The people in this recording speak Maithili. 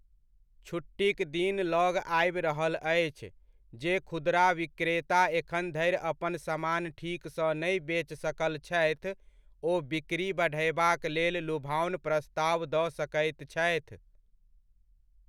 छुट्टीक दिन लग आबि रहल अछि, जे खुदरा विक्रेता एखन धरि अपन समान ठीक सँ नहि बेच सकल छथि, ओ बिक्री बढ़यबाक लेल लुभाओन प्रस्ताव दऽ सकैत छथि।